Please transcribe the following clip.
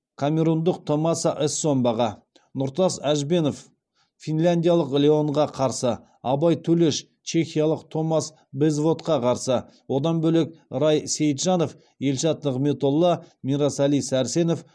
камерундық томаса эссомбаға нұртас әжбенов финляндиялық леонға қарсы абай төлеш чехиялық томас безводқа қарсы одан бөлек рай сейтжанов елшат нығметолла мирасали сәрсенов